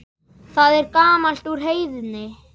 Það er gamalt úr Heiðni!